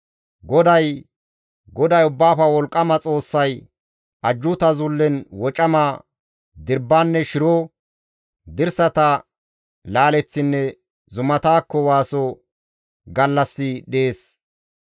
GODAY Ubbaafe Wolqqama Xoossay Ajjuuta Zullen wocama, dirbbanne shiro, dirsata laaleththinne zumatakko waaso gallassi dees.